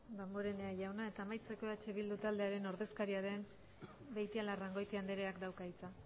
damborenea jauna eta amaitzeko eh bildu taldearen ordezkaria den beitialarrangoitia andreak dauka hitza